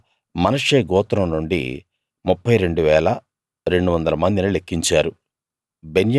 అలా మనష్షే గోత్రం నుండి 32 200 మందిని లెక్కించారు